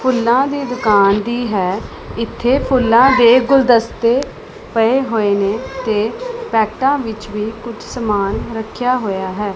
ਫੁੱਲਾਂ ਦੀ ਦੁਕਾਨ ਵੀ ਹੈ ਇੱਥੇ ਫੁੱਲਾਂ ਦੇ ਗੁਲਦਸਤੇ ਪਏ ਹੋਏ ਨੇ ਤੇ ਪੈਕਟਾਂ ਵਿੱਚ ਵੀ ਕੁਝ ਸਮਾਨ ਰੱਖਿਆ ਹੋਇਆ ਹੈ।